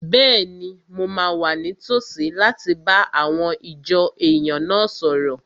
Bẹ́ẹ̀ni, mo máa wà ní tòsí láti bá àwọn ìjọ èèyàn náà sọ̀rọ̀